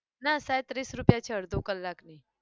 ના સાયદ ત્રીસ રૂપિયા છે અડધો કલાકની.